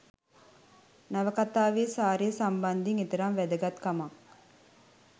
නවකතාවේ සාරය සම්බන්ධයෙන් එතරම් වැදගත් කමක්